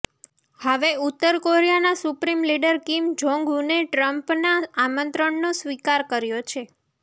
હવે ઉત્તર કોરિયાના સુપ્રીમ લીડર કિમ જોંગ ઉને ટ્રમ્પના આમંત્રણનો સ્વીકાર કર્યો છે